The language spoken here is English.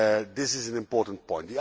This is an important point.